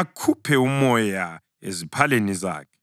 akhuphe umoya eziphaleni zakhe.